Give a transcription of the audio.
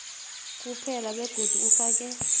kuphela begodu ufake